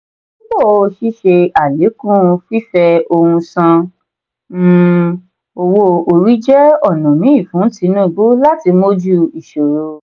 dípò sise alekun fífẹ òhun san um owó-orí jẹ ọnà mí fún tinubu láti mójú ìṣòro.